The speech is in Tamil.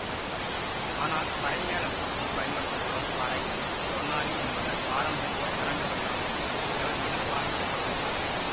ஆனால் பறைமேள கூத்தில் பயன்படுத்தப்படும் பறை சொர்ணாலி என்பன பாரம்பரிய அரங்க வடிவங்கள் எவற்றிலும் பாவிக்கப்படுவதில்லை